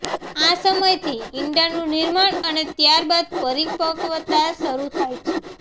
આ સમયથી ઇંડાનું નિર્માણ અને ત્યારબાદ પરિપક્વતા શરૂ થાય છે